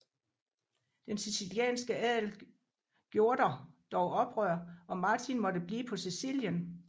Den sicilianske adel gjorder dog oprør og Martin måtte blive på Sicilien